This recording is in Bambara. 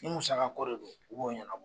Ni musaga ko de don, u b'o ɲanabɔ.